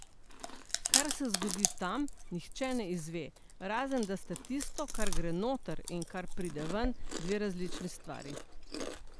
Kar se zgodi tam, nihče ne izve, razen da sta tisto, kar gre noter in kar pride ven, dve različni stvari.